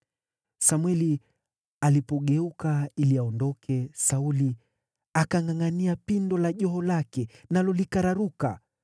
Samweli alipogeuka ili aondoke, Sauli akangʼangʼania pindo la joho lake, nalo likararuka.